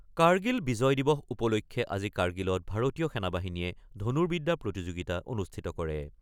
কাৰ্গিল বিজয় দিবস উপলক্ষে আজি কাৰ্গিলত ভাৰতীয় সেনা বাহিনীয়ে ধনুৰ্বিদ্যা প্ৰতিযোগিতা অনুষ্ঠিত কৰে।